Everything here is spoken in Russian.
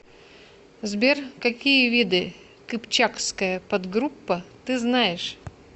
сбер какие виды кыпчакская подгруппа ты знаешь